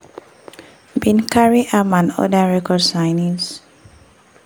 bin carry am and oda record signees.